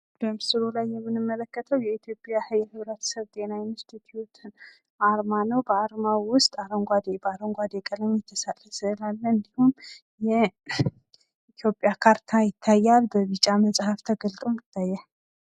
በምስሉ ላይ የምንመለክተው የኢትዮጵያ ጤና ኢንስቲቲዩት አርማ ነው። ከአርማው ዉስጥ አረንጓዴ በአረንጓዴ ቀለም የተሰራ ስእል አለ። የኢትዮጵያ ካርታ ይታያል። ቢጫ መጽሃፍ ተገልጦ ይታያል።